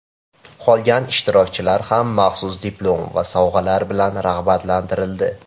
Qolgan ishtirokchilar ham maxsus diplom va sovg‘alar bilan rag‘batlantirildi.